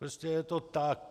Prostě je to tak.